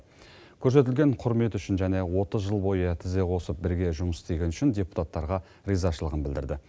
көрсетілген құрмет үшін және отыз жыл бойы тізе қосып бірге жұмыс істегені үшін депутаттарға ризашылығын білдірді